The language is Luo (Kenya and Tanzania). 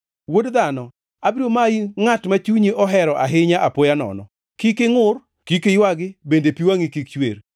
“Wuod dhano, abiro mayi ngʼat ma chunyi ohero ahinya apoya nono. Kik ingʼur, kik iywagi bende pi wangʼi kik chwer.